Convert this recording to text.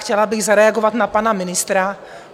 Chtěla bych zareagovat na pana ministra.